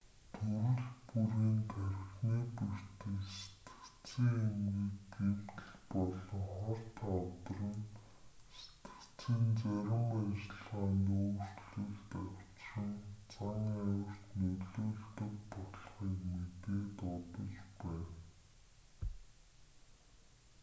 төрөл бүрийн тархины бэртэл сэтгэцийн эмгэг гэмтэл болон хорт хавдар нь сэтгэцийн зарим ажиллагаанд өөрчлөлт авчирч зан авирт нөлөөлдөг болохыг мэдээд удаж байна